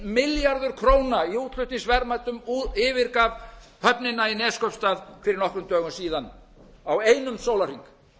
milljarður króna í útflutningsverðmætum yfirgaf höfnina höfnina í neskaupstað fyrir nokkrum dögum síðan á einum sólarhring